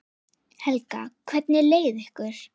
Helga: Hvernig leið ykkur?